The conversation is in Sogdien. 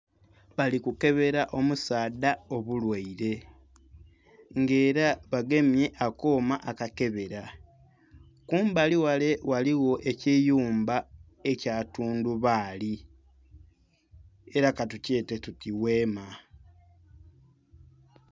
Bali kukebera omusaadha obulwaire, nga era bagemye akooma akakebera, kumbali ghale ghaligho ekiyumba ekya tundubaali, era katukyete tuti gheema.